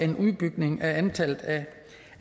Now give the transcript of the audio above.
en udbygning af antallet